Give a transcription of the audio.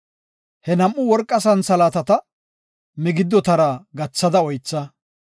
He nam7u worqa santhalaatata migiddotara gathada oytha.